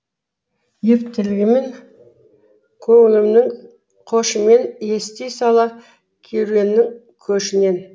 елтігінімін көңілімнің қошымен ести сала керуеннің көшінен